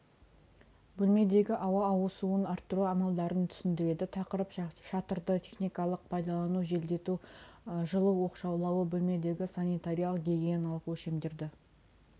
бөлмедегі ауа ауысуын арттыру амалдарын түсіндіреді тақырып шатырды техникалық пайдалану желдету жылу оқшаулауы бөлмедегі санитариялық гигиеналық өлшемдерді